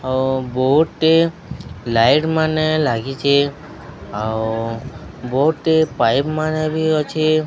ଆଉ ବୋହୁଟେ ଲାଇଟ ମାନେ ଲାଗିଚେ। ଆଉ ବୋହୁଟେ ପାଇପ ମାନେ ବି ଅଛେ।